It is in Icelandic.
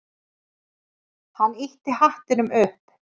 Hann ýtti hattinum upp.